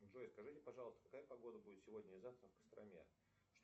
джой скажите пожалуйста какая погода будет сегодня и завтра в костроме